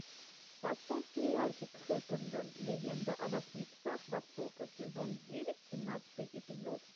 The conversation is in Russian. поставь сериальчик хаккэндэн легенда о восьми псах востока сезон девять семнадцатый эпизод